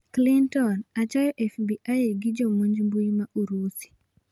Clinton: achayo FBI gi jomonj mbuyi ma Urusi